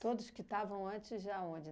Todos que estavam antes já onde?